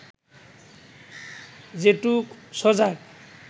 যেটুক সজাগ